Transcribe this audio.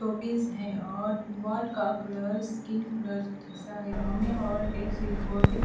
office है और wall का कलर स्किन कलर जैसा है हमें और एक स्विच बोर्ड भी --